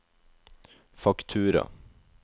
faktura